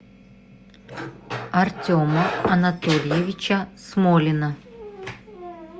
артема анатольевича смолина